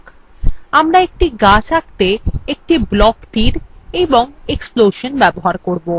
আমরা একটি গাছ আঁকতে একটি block তীর এবং একটি explosion ব্যবহার করব